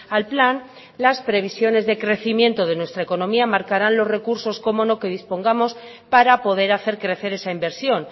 al plan las previsiones de crecimiento de nuestra economía marcarán los recursos cómo no que dispongamos para poder hacer crecer esa inversión